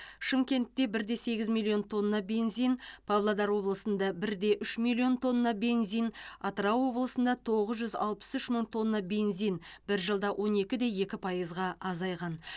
шымкентте бірде сегіз миллион тонна бензин палодар облысында бірде үш миллион тонна бензин атырау облысында тоғыз жүз алпыс үш мың тонна бензин бір жылда он екіде екі пайызға азайған